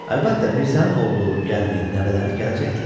Əlbəttə, Mirzənin oğlu, gəlini, nəvələri gələcəkdilər.